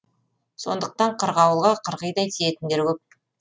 сондықтан қырғауылға қырғидай тиетіндер көп